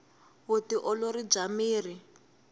vu ti olori bya miri